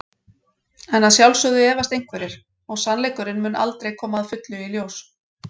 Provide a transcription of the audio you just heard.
En að sjálfsögðu efast einhverjir og sannleikurinn mun aldrei koma að fullu í ljós.